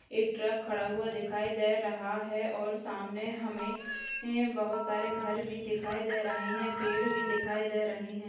एक ट्रक खड़ा हुआ दिखाई दे रहा है और सामने हमें बहोत सारे घर भी दिखाई दे रहे हैं और पेड़ भी दिखाई दे रहे हैं।